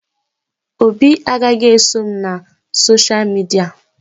Obi agaghị eso m na sosha midia